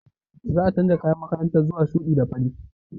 Za a canza kayan makaranta zuwa shuɗi da fari.